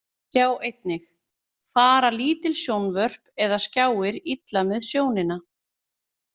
Sjá einnig: Fara lítil sjónvörp eða skjáir illa með sjónina?